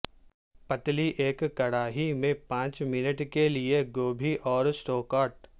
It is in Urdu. پتلی ایک کڑاہی میں پانچ منٹ کے لئے گوبھی اور سٹو کاٹ